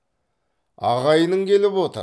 ағайының келіп отыр